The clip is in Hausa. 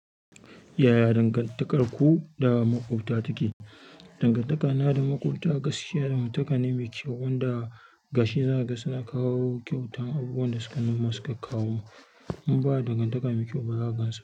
Yaya dangantakarku da maƙwabta take? Dangantakana da maƙwabta gaskiya, dangantaka ne mai kyau wanda gashi zanaga suna kawo kyautan abubuwan da sukan masa kawo. In ba dangantaka mai kyau ba, za gansa.